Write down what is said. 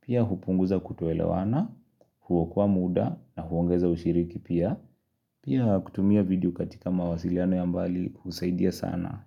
pia hupunguza kutoelewana, kuokoa muda, na huongeza ushiriki pia, Pia kutumia video katika mawasiliano ya mbali husaidia sana.